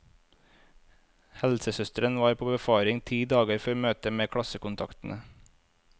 Helsesøster var på befaring ti dager før møtet med klassekontaktene.